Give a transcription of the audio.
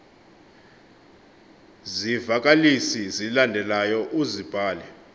zivakalisi zilandelayo uzibhale